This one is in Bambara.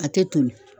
A tɛ toli